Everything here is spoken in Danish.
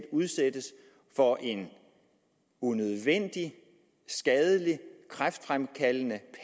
udsættes for en unødvendig skadelig kræftfremkaldende